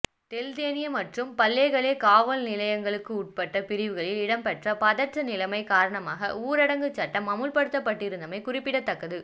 தெல்தெனிய மற்றும் பல்லேகலே காவல் நிலையங்களுக்கு உட்பட்ட பிரிவுகளில் இடம்பெற்ற பதற்ற நிலைமை காரணமாக ஊரடங்குச் சட்டம் அமுல்படுத்தப்பட்டிருந்தமை குறிப்பிடத்தக்கது